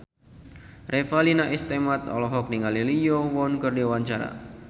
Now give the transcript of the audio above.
Revalina S. Temat olohok ningali Lee Yo Won keur diwawancara